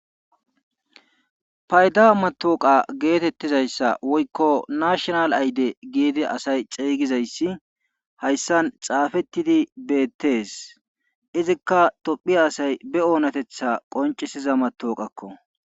Payda matawuqqa getetizayssa woykko asay nashinal ayde gizi asay xeegidayssi hayssan xaafetidi beetees. Izikka tophiya asay be oonatetha qonccisiza matawuqqakko.